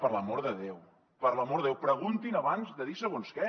per l’amor de déu per l’amor de déu preguntin abans de dir segons què